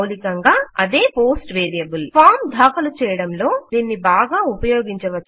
మౌలికంగా అదే post variable form దాఖలు చేయడంలొ దీన్ని బాగా ఉపయోగించవచ్చు